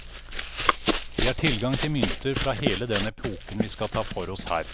Vi har tilgang til mynter fra hele den epoken vi skal ta for oss her.